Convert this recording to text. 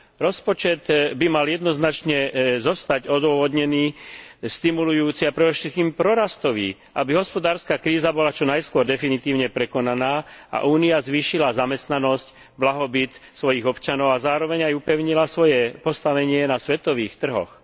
Rozpočet by mal jednoznačne zostať odôvodnený, stimulujúci, ale predovšetkým prorastový, aby hospodárska kríza bola čo najskôr definitívne prekonaná a Únia zvýšila zamestnanosť, blahobyt svojich občanov a zároveň upevnila svoje postavenie na svetových trhoch.